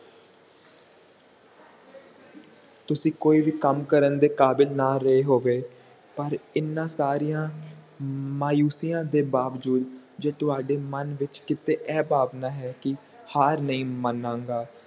ਤੁਸੀਂ ਕੋਈ ਵੀ ਕੰਮ ਕਰਨ ਦੇ ਕਾਬਿਲ ਨਾ ਰਿਹਾ ਹੋਵੇ ਪਰ ਹਨ ਸਾਰੀਆਂ ਮਾਯੂਸੀਆਂ ਦੇ ਬਾਵਜੂਦ ਤੇ ਤੁਹਾਡੇ ਮਨ ਵਿਚ ਕੀਤੇ ਇਹ ਭਾਵਨਾ ਹੈ ਕੀ ਹਾਰ ਨਹੀਂ ਮਣਾਂਗਾ